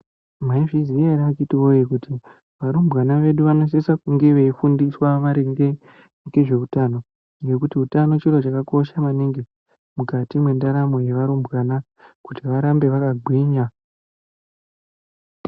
Mwaizviziya ere atete woye kuti varumbwana vedu vanosise kunge veifundiswa maringe ngezveutano ngekuti utano chiro chakakosha maningi mukati mwendaramo yevarumbwana kuti varambe vakagwinya.